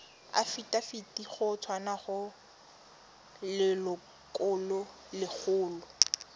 afitafiti go tswa go lelokolegolo